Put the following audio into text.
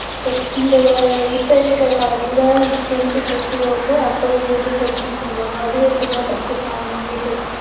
but இந்த இப்போ இருக்க காலத்துல tenth plus two வ வந்து அப்போ வந்து SSLC னு சொல்லுவாங்க அது வரைக்கும் தான் படிச்சு இருப்பாங்க நிறைய பேர்.